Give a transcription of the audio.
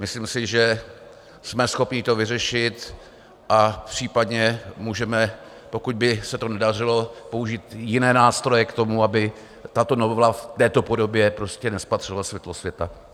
Myslím si, že jsme schopni to vyřešit a případně můžeme, pokud by se to nedařilo, použít jiné nástroje k tomu, aby tato novela v této podobě prostě nespatřila světlo světa.